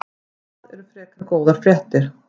Það eru frekar góðar fréttir.